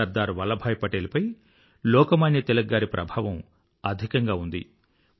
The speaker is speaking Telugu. సర్దార్ వల్లభాయ్ పటేల్ పై లోకమాన్య తిలక్ గారి ప్రభావం అధికంగా ఉంది